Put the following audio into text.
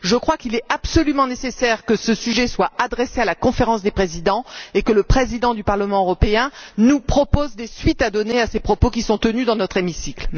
Je crois qu'il est absolument nécessaire que cette question soit transmise à la Conférence des présidents et que le Président du Parlement européen nous propose des suites à donner à ces propos qui sont tenus dans notre hémicycle.